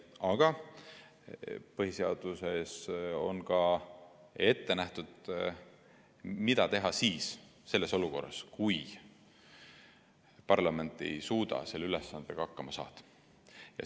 Aga põhiseaduses on ka ette nähtud, mida teha sellises olukorras, kui parlament ei suuda selle ülesandega hakkama saada.